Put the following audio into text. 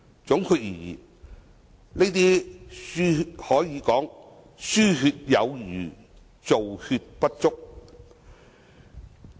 總括而言，這些可說是"輸血有餘，造血不足"。